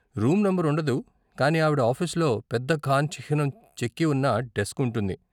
Room number ఉండదు కానీ ఆవిడ ఆఫీసులో పెద్ద ఖాన్ చిహ్నం చెక్కి ఉన్న డెస్క్ ఉంటుంది.